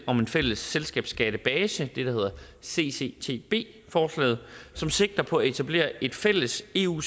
om en fælles selskabsskattebase det der hedder cctb forslaget som sigter på at etablere et fælles sæt eu